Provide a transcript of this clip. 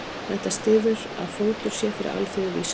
Þetta styður að fótur sé fyrir alþýðuvísindunum.